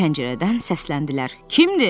Pəncərədən səsləndilər: Kimdir?